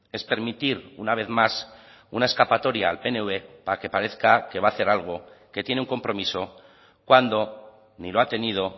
es permitir una vez más una escapatoria al pnv para que parezca que va a hacer algo que tiene un compromiso cuando ni lo ha tenido